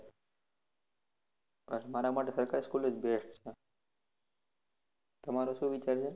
બસ મારા માટે સરકારી school જ best છે. તમારો શું વિચાર છે?